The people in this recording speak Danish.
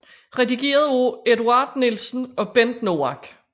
Redigeret af Eduard Nielsen og Bent Noack